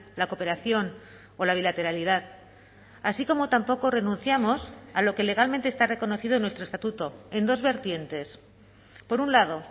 la cooperación o la bilateralidad así como tampoco renunciamos a lo que legalmente está reconocido en nuestro estatuto en dos vertientes por un lado